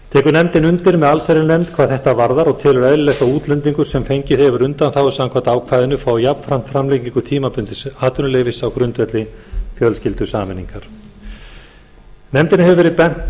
nefndin undir með allsherjarnefnd hvað þetta varðar og telur eðlilegt að útlendingur sem fengið hefur undanþágu samkvæmt ákvæðinu fái jafnframt framlengingu tímabundins atvinnuleyfis á grundvelli fjölskyldusameiningar nefndinni hefur verið bent